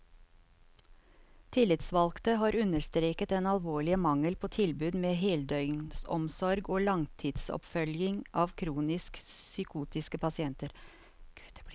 Tillitsvalgte har understreket den alvorlige mangel på tilbud med heldøgnsomsorg og langtidsoppfølging av kronisk psykotiske pasienter.